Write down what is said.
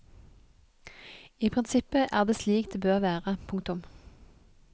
I prinsippet er det slik det bør være. punktum